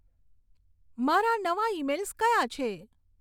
મારા નવા ઇમેઇલ્સ કયાં છે